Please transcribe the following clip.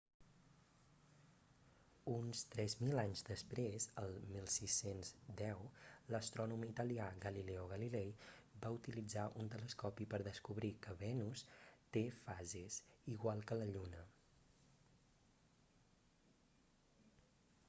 uns tres mil anys després el 1610 l'astrònom italià galileo galilei va utilizar un telescopi per descobrir que venus té fases igual que la lluna